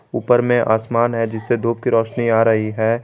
ऊपर में आसमान है नीचे धूप की रोशनी आ रही है।